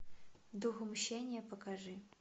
дух мщения покажи